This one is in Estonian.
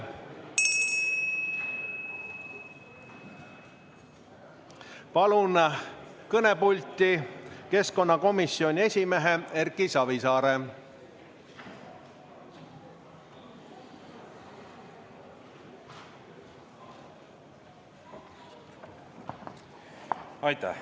Palun kõnepulti keskkonnakomisjoni esimehe Erki Savisaare!